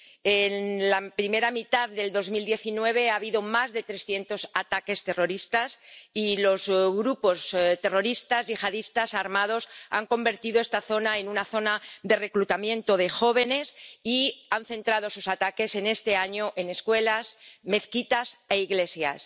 En la primera mitad de 2019 ha habido más de 300 ataques terroristas y los grupos terroristas yihadistas armados han convertido esta zona en una zona de reclutamiento de jóvenes y han centrado sus ataques este año en escuelas, mezquitas e iglesias.